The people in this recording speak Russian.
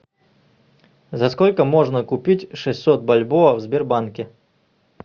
за сколько можно купить шестьсот бальбоа в сбербанке